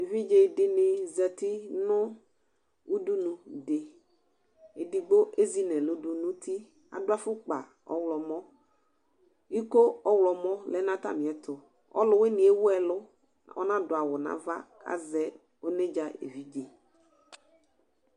ɛvidze dini zati nu udunu ɛdigbo ɛzineludunuti ɑduafukpa ɔhlomo iko ɔhlomo lenatamietu ɔluwinie ɛwuelu kanaduawu nɑva ɔnedza ɛvidze